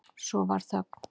Svo varð þögn.